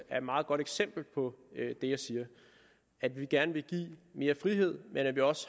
meget godt eksempel på det jeg siger at vi gerne vil give mere frihed men at vi også